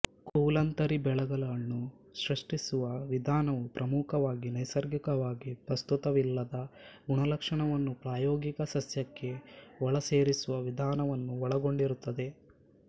ಕುಲಾಂತರಿ ಬೆಳೆಗಳನ್ನು ಸೃಷ್ಟಿಸುವ ವಿಧಾನವು ಪ್ರಮುಖವಾಗಿ ನೈಸರ್ಗಿಕವಾಗಿ ಪ್ರಸ್ತುತವಿಲ್ಲದ ಗುಣಲಕ್ಷಣವನ್ನು ಪ್ರಾಯೋಗಿಕ ಸಸ್ಯಕ್ಕೆ ಒಳಸೇರಿಸುವ ವಿಧಾನವನ್ನು ಒಳಗೊಂಡಿರುತ್ತದೆ